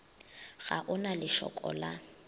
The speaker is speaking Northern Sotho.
ga o na lešoko la